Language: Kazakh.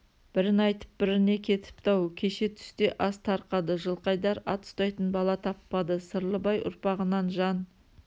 бірін айтып біріне кетіпті-ау кеше түсте ас тарқады жылқайдар ат ұстайтын бала таппады сырлыбай ұрпағынан жан